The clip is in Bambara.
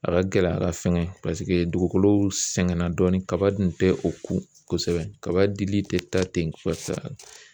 A ka gɛlɛn ka fɛnkɛ paseke dugukolow sɛgɛnna dɔɔni kaba dun tɛ o kun kosɛbɛ kaba dili tɛ taa ten kosɛbɛ.